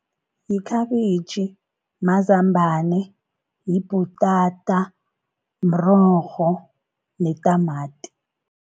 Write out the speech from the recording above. Yikhabitjhi, mazambana, yibhutata, mrorho netamati.